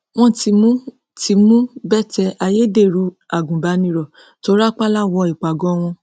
wọn ti mú ti mú bethel ayédèrú agùnbánirò tó rápálá wọ ìpàgọ wọn